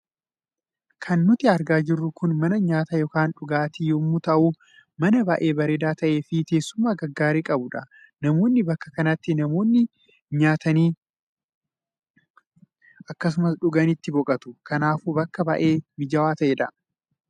Kan nuti argaa jirru kun mana nyaataa yookaan dhugaatii yommuu ta'u mana baay'ee bareedaa ta'ee fi teessuma gaggaarii qabudha. Namoonni bakka kanatti namoonni nyaatanii akkasumas dhuganii itti boqotu. Kanaafuu bakka baay'ee mijaawaa ta'edha.